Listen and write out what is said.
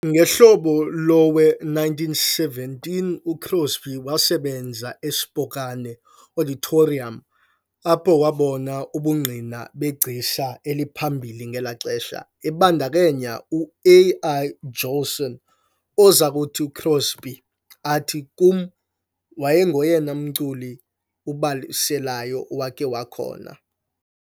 Ngehlobo lowe- 1917 uCrosby wasebenza eSpokane "Auditorium", apho wabona ubungqina begcisa eliphambili ngelo xesha, ebandakanya u- Al Jolson, oza kuthi uCrosby athi, " "Kum, wayengoyena mculi ubalaselayo owakhe wakhona" ."